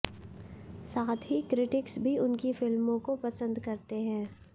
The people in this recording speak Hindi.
साथ ही क्रिटिक्स भी उनकी फ़िल्मों को पंसद करते हैं